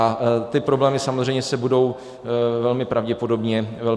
A ty problémy samozřejmě se budou velmi pravděpodobně zvyšovat.